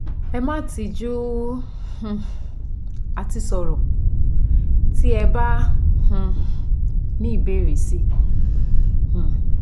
Ẹ má tijú um àti sọ̀rọ̀ tí ẹ bá um ní ìbéèrè si um